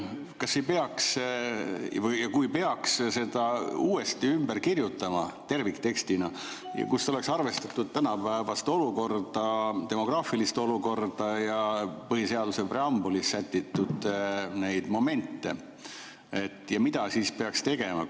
Kas peaks selle uuesti ümber kirjutama terviktekstina, nii et oleks arvestatud tänapäevast olukorda, demograafilist olukorda ja põhiseaduse preambulis sätitud momente, ja kui peaks, mida siis peaks tegema?